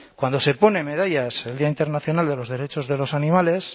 cuando se pone medallas el día internacional de los derechos de los animales